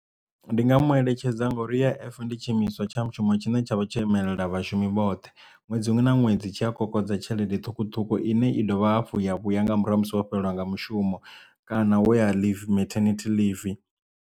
Ndi nga mu eletshedza ngori U_I_F ndi tshi imiswa tsha mushumo tshine tsha vha tsho imela vhashumi vhoṱhe ṅwedzi muṅwe na ṅwedzi tshi a kokodza tshelede ṱhukhuṱhukhu ine i dovha hafhu ya vhuya nga murahu ha musi wo fhelelwa nga mushumo kana woya leave martinity leave.